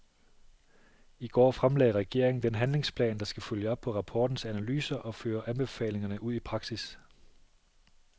I går fremlagde regeringen den handlingsplan, der skal følge op på rapportens analyser og føre anbefalingerne ud i praksis.